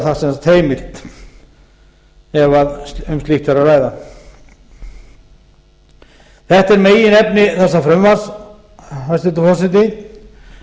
það sem sagt heimilt ef um slíkt er að ræða þetta er meginefni þessa frumvarps hæstvirtur forseti